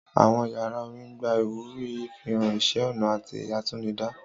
Àwọn yàrá orin ń gba ìwúrí ìfihàn iṣẹ́-ọnà àti àtinúdá.